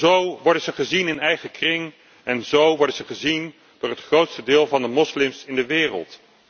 Zo worden ze gezien in eigen kring en zo worden ze gezien door het grootste deel van de moslims in de wereld.